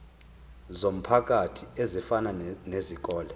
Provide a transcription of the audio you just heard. zomphakathi ezifana nezikole